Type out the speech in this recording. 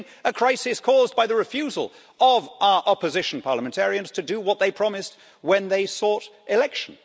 We're seeing a crisis caused by the refusal of our opposition parliamentarians to do what they promised when they sought election.